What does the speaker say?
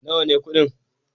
Nawa ne kuɗin?